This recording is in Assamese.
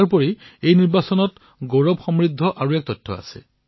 ইয়াৰোপৰি এই নিৰ্বাচনত গৌৰৱান্বিত কৰিব পৰা অনেক তথ্য আছে